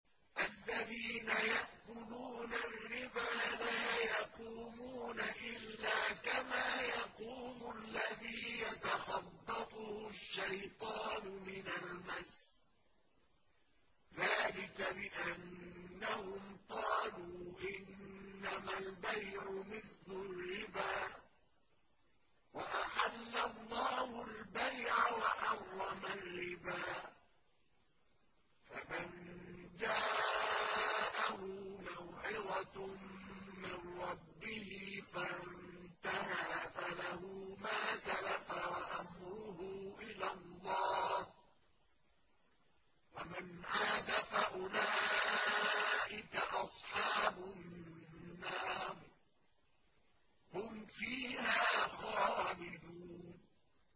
الَّذِينَ يَأْكُلُونَ الرِّبَا لَا يَقُومُونَ إِلَّا كَمَا يَقُومُ الَّذِي يَتَخَبَّطُهُ الشَّيْطَانُ مِنَ الْمَسِّ ۚ ذَٰلِكَ بِأَنَّهُمْ قَالُوا إِنَّمَا الْبَيْعُ مِثْلُ الرِّبَا ۗ وَأَحَلَّ اللَّهُ الْبَيْعَ وَحَرَّمَ الرِّبَا ۚ فَمَن جَاءَهُ مَوْعِظَةٌ مِّن رَّبِّهِ فَانتَهَىٰ فَلَهُ مَا سَلَفَ وَأَمْرُهُ إِلَى اللَّهِ ۖ وَمَنْ عَادَ فَأُولَٰئِكَ أَصْحَابُ النَّارِ ۖ هُمْ فِيهَا خَالِدُونَ